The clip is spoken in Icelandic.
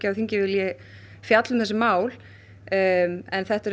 þingið vill fjalla um þessi mál en þetta er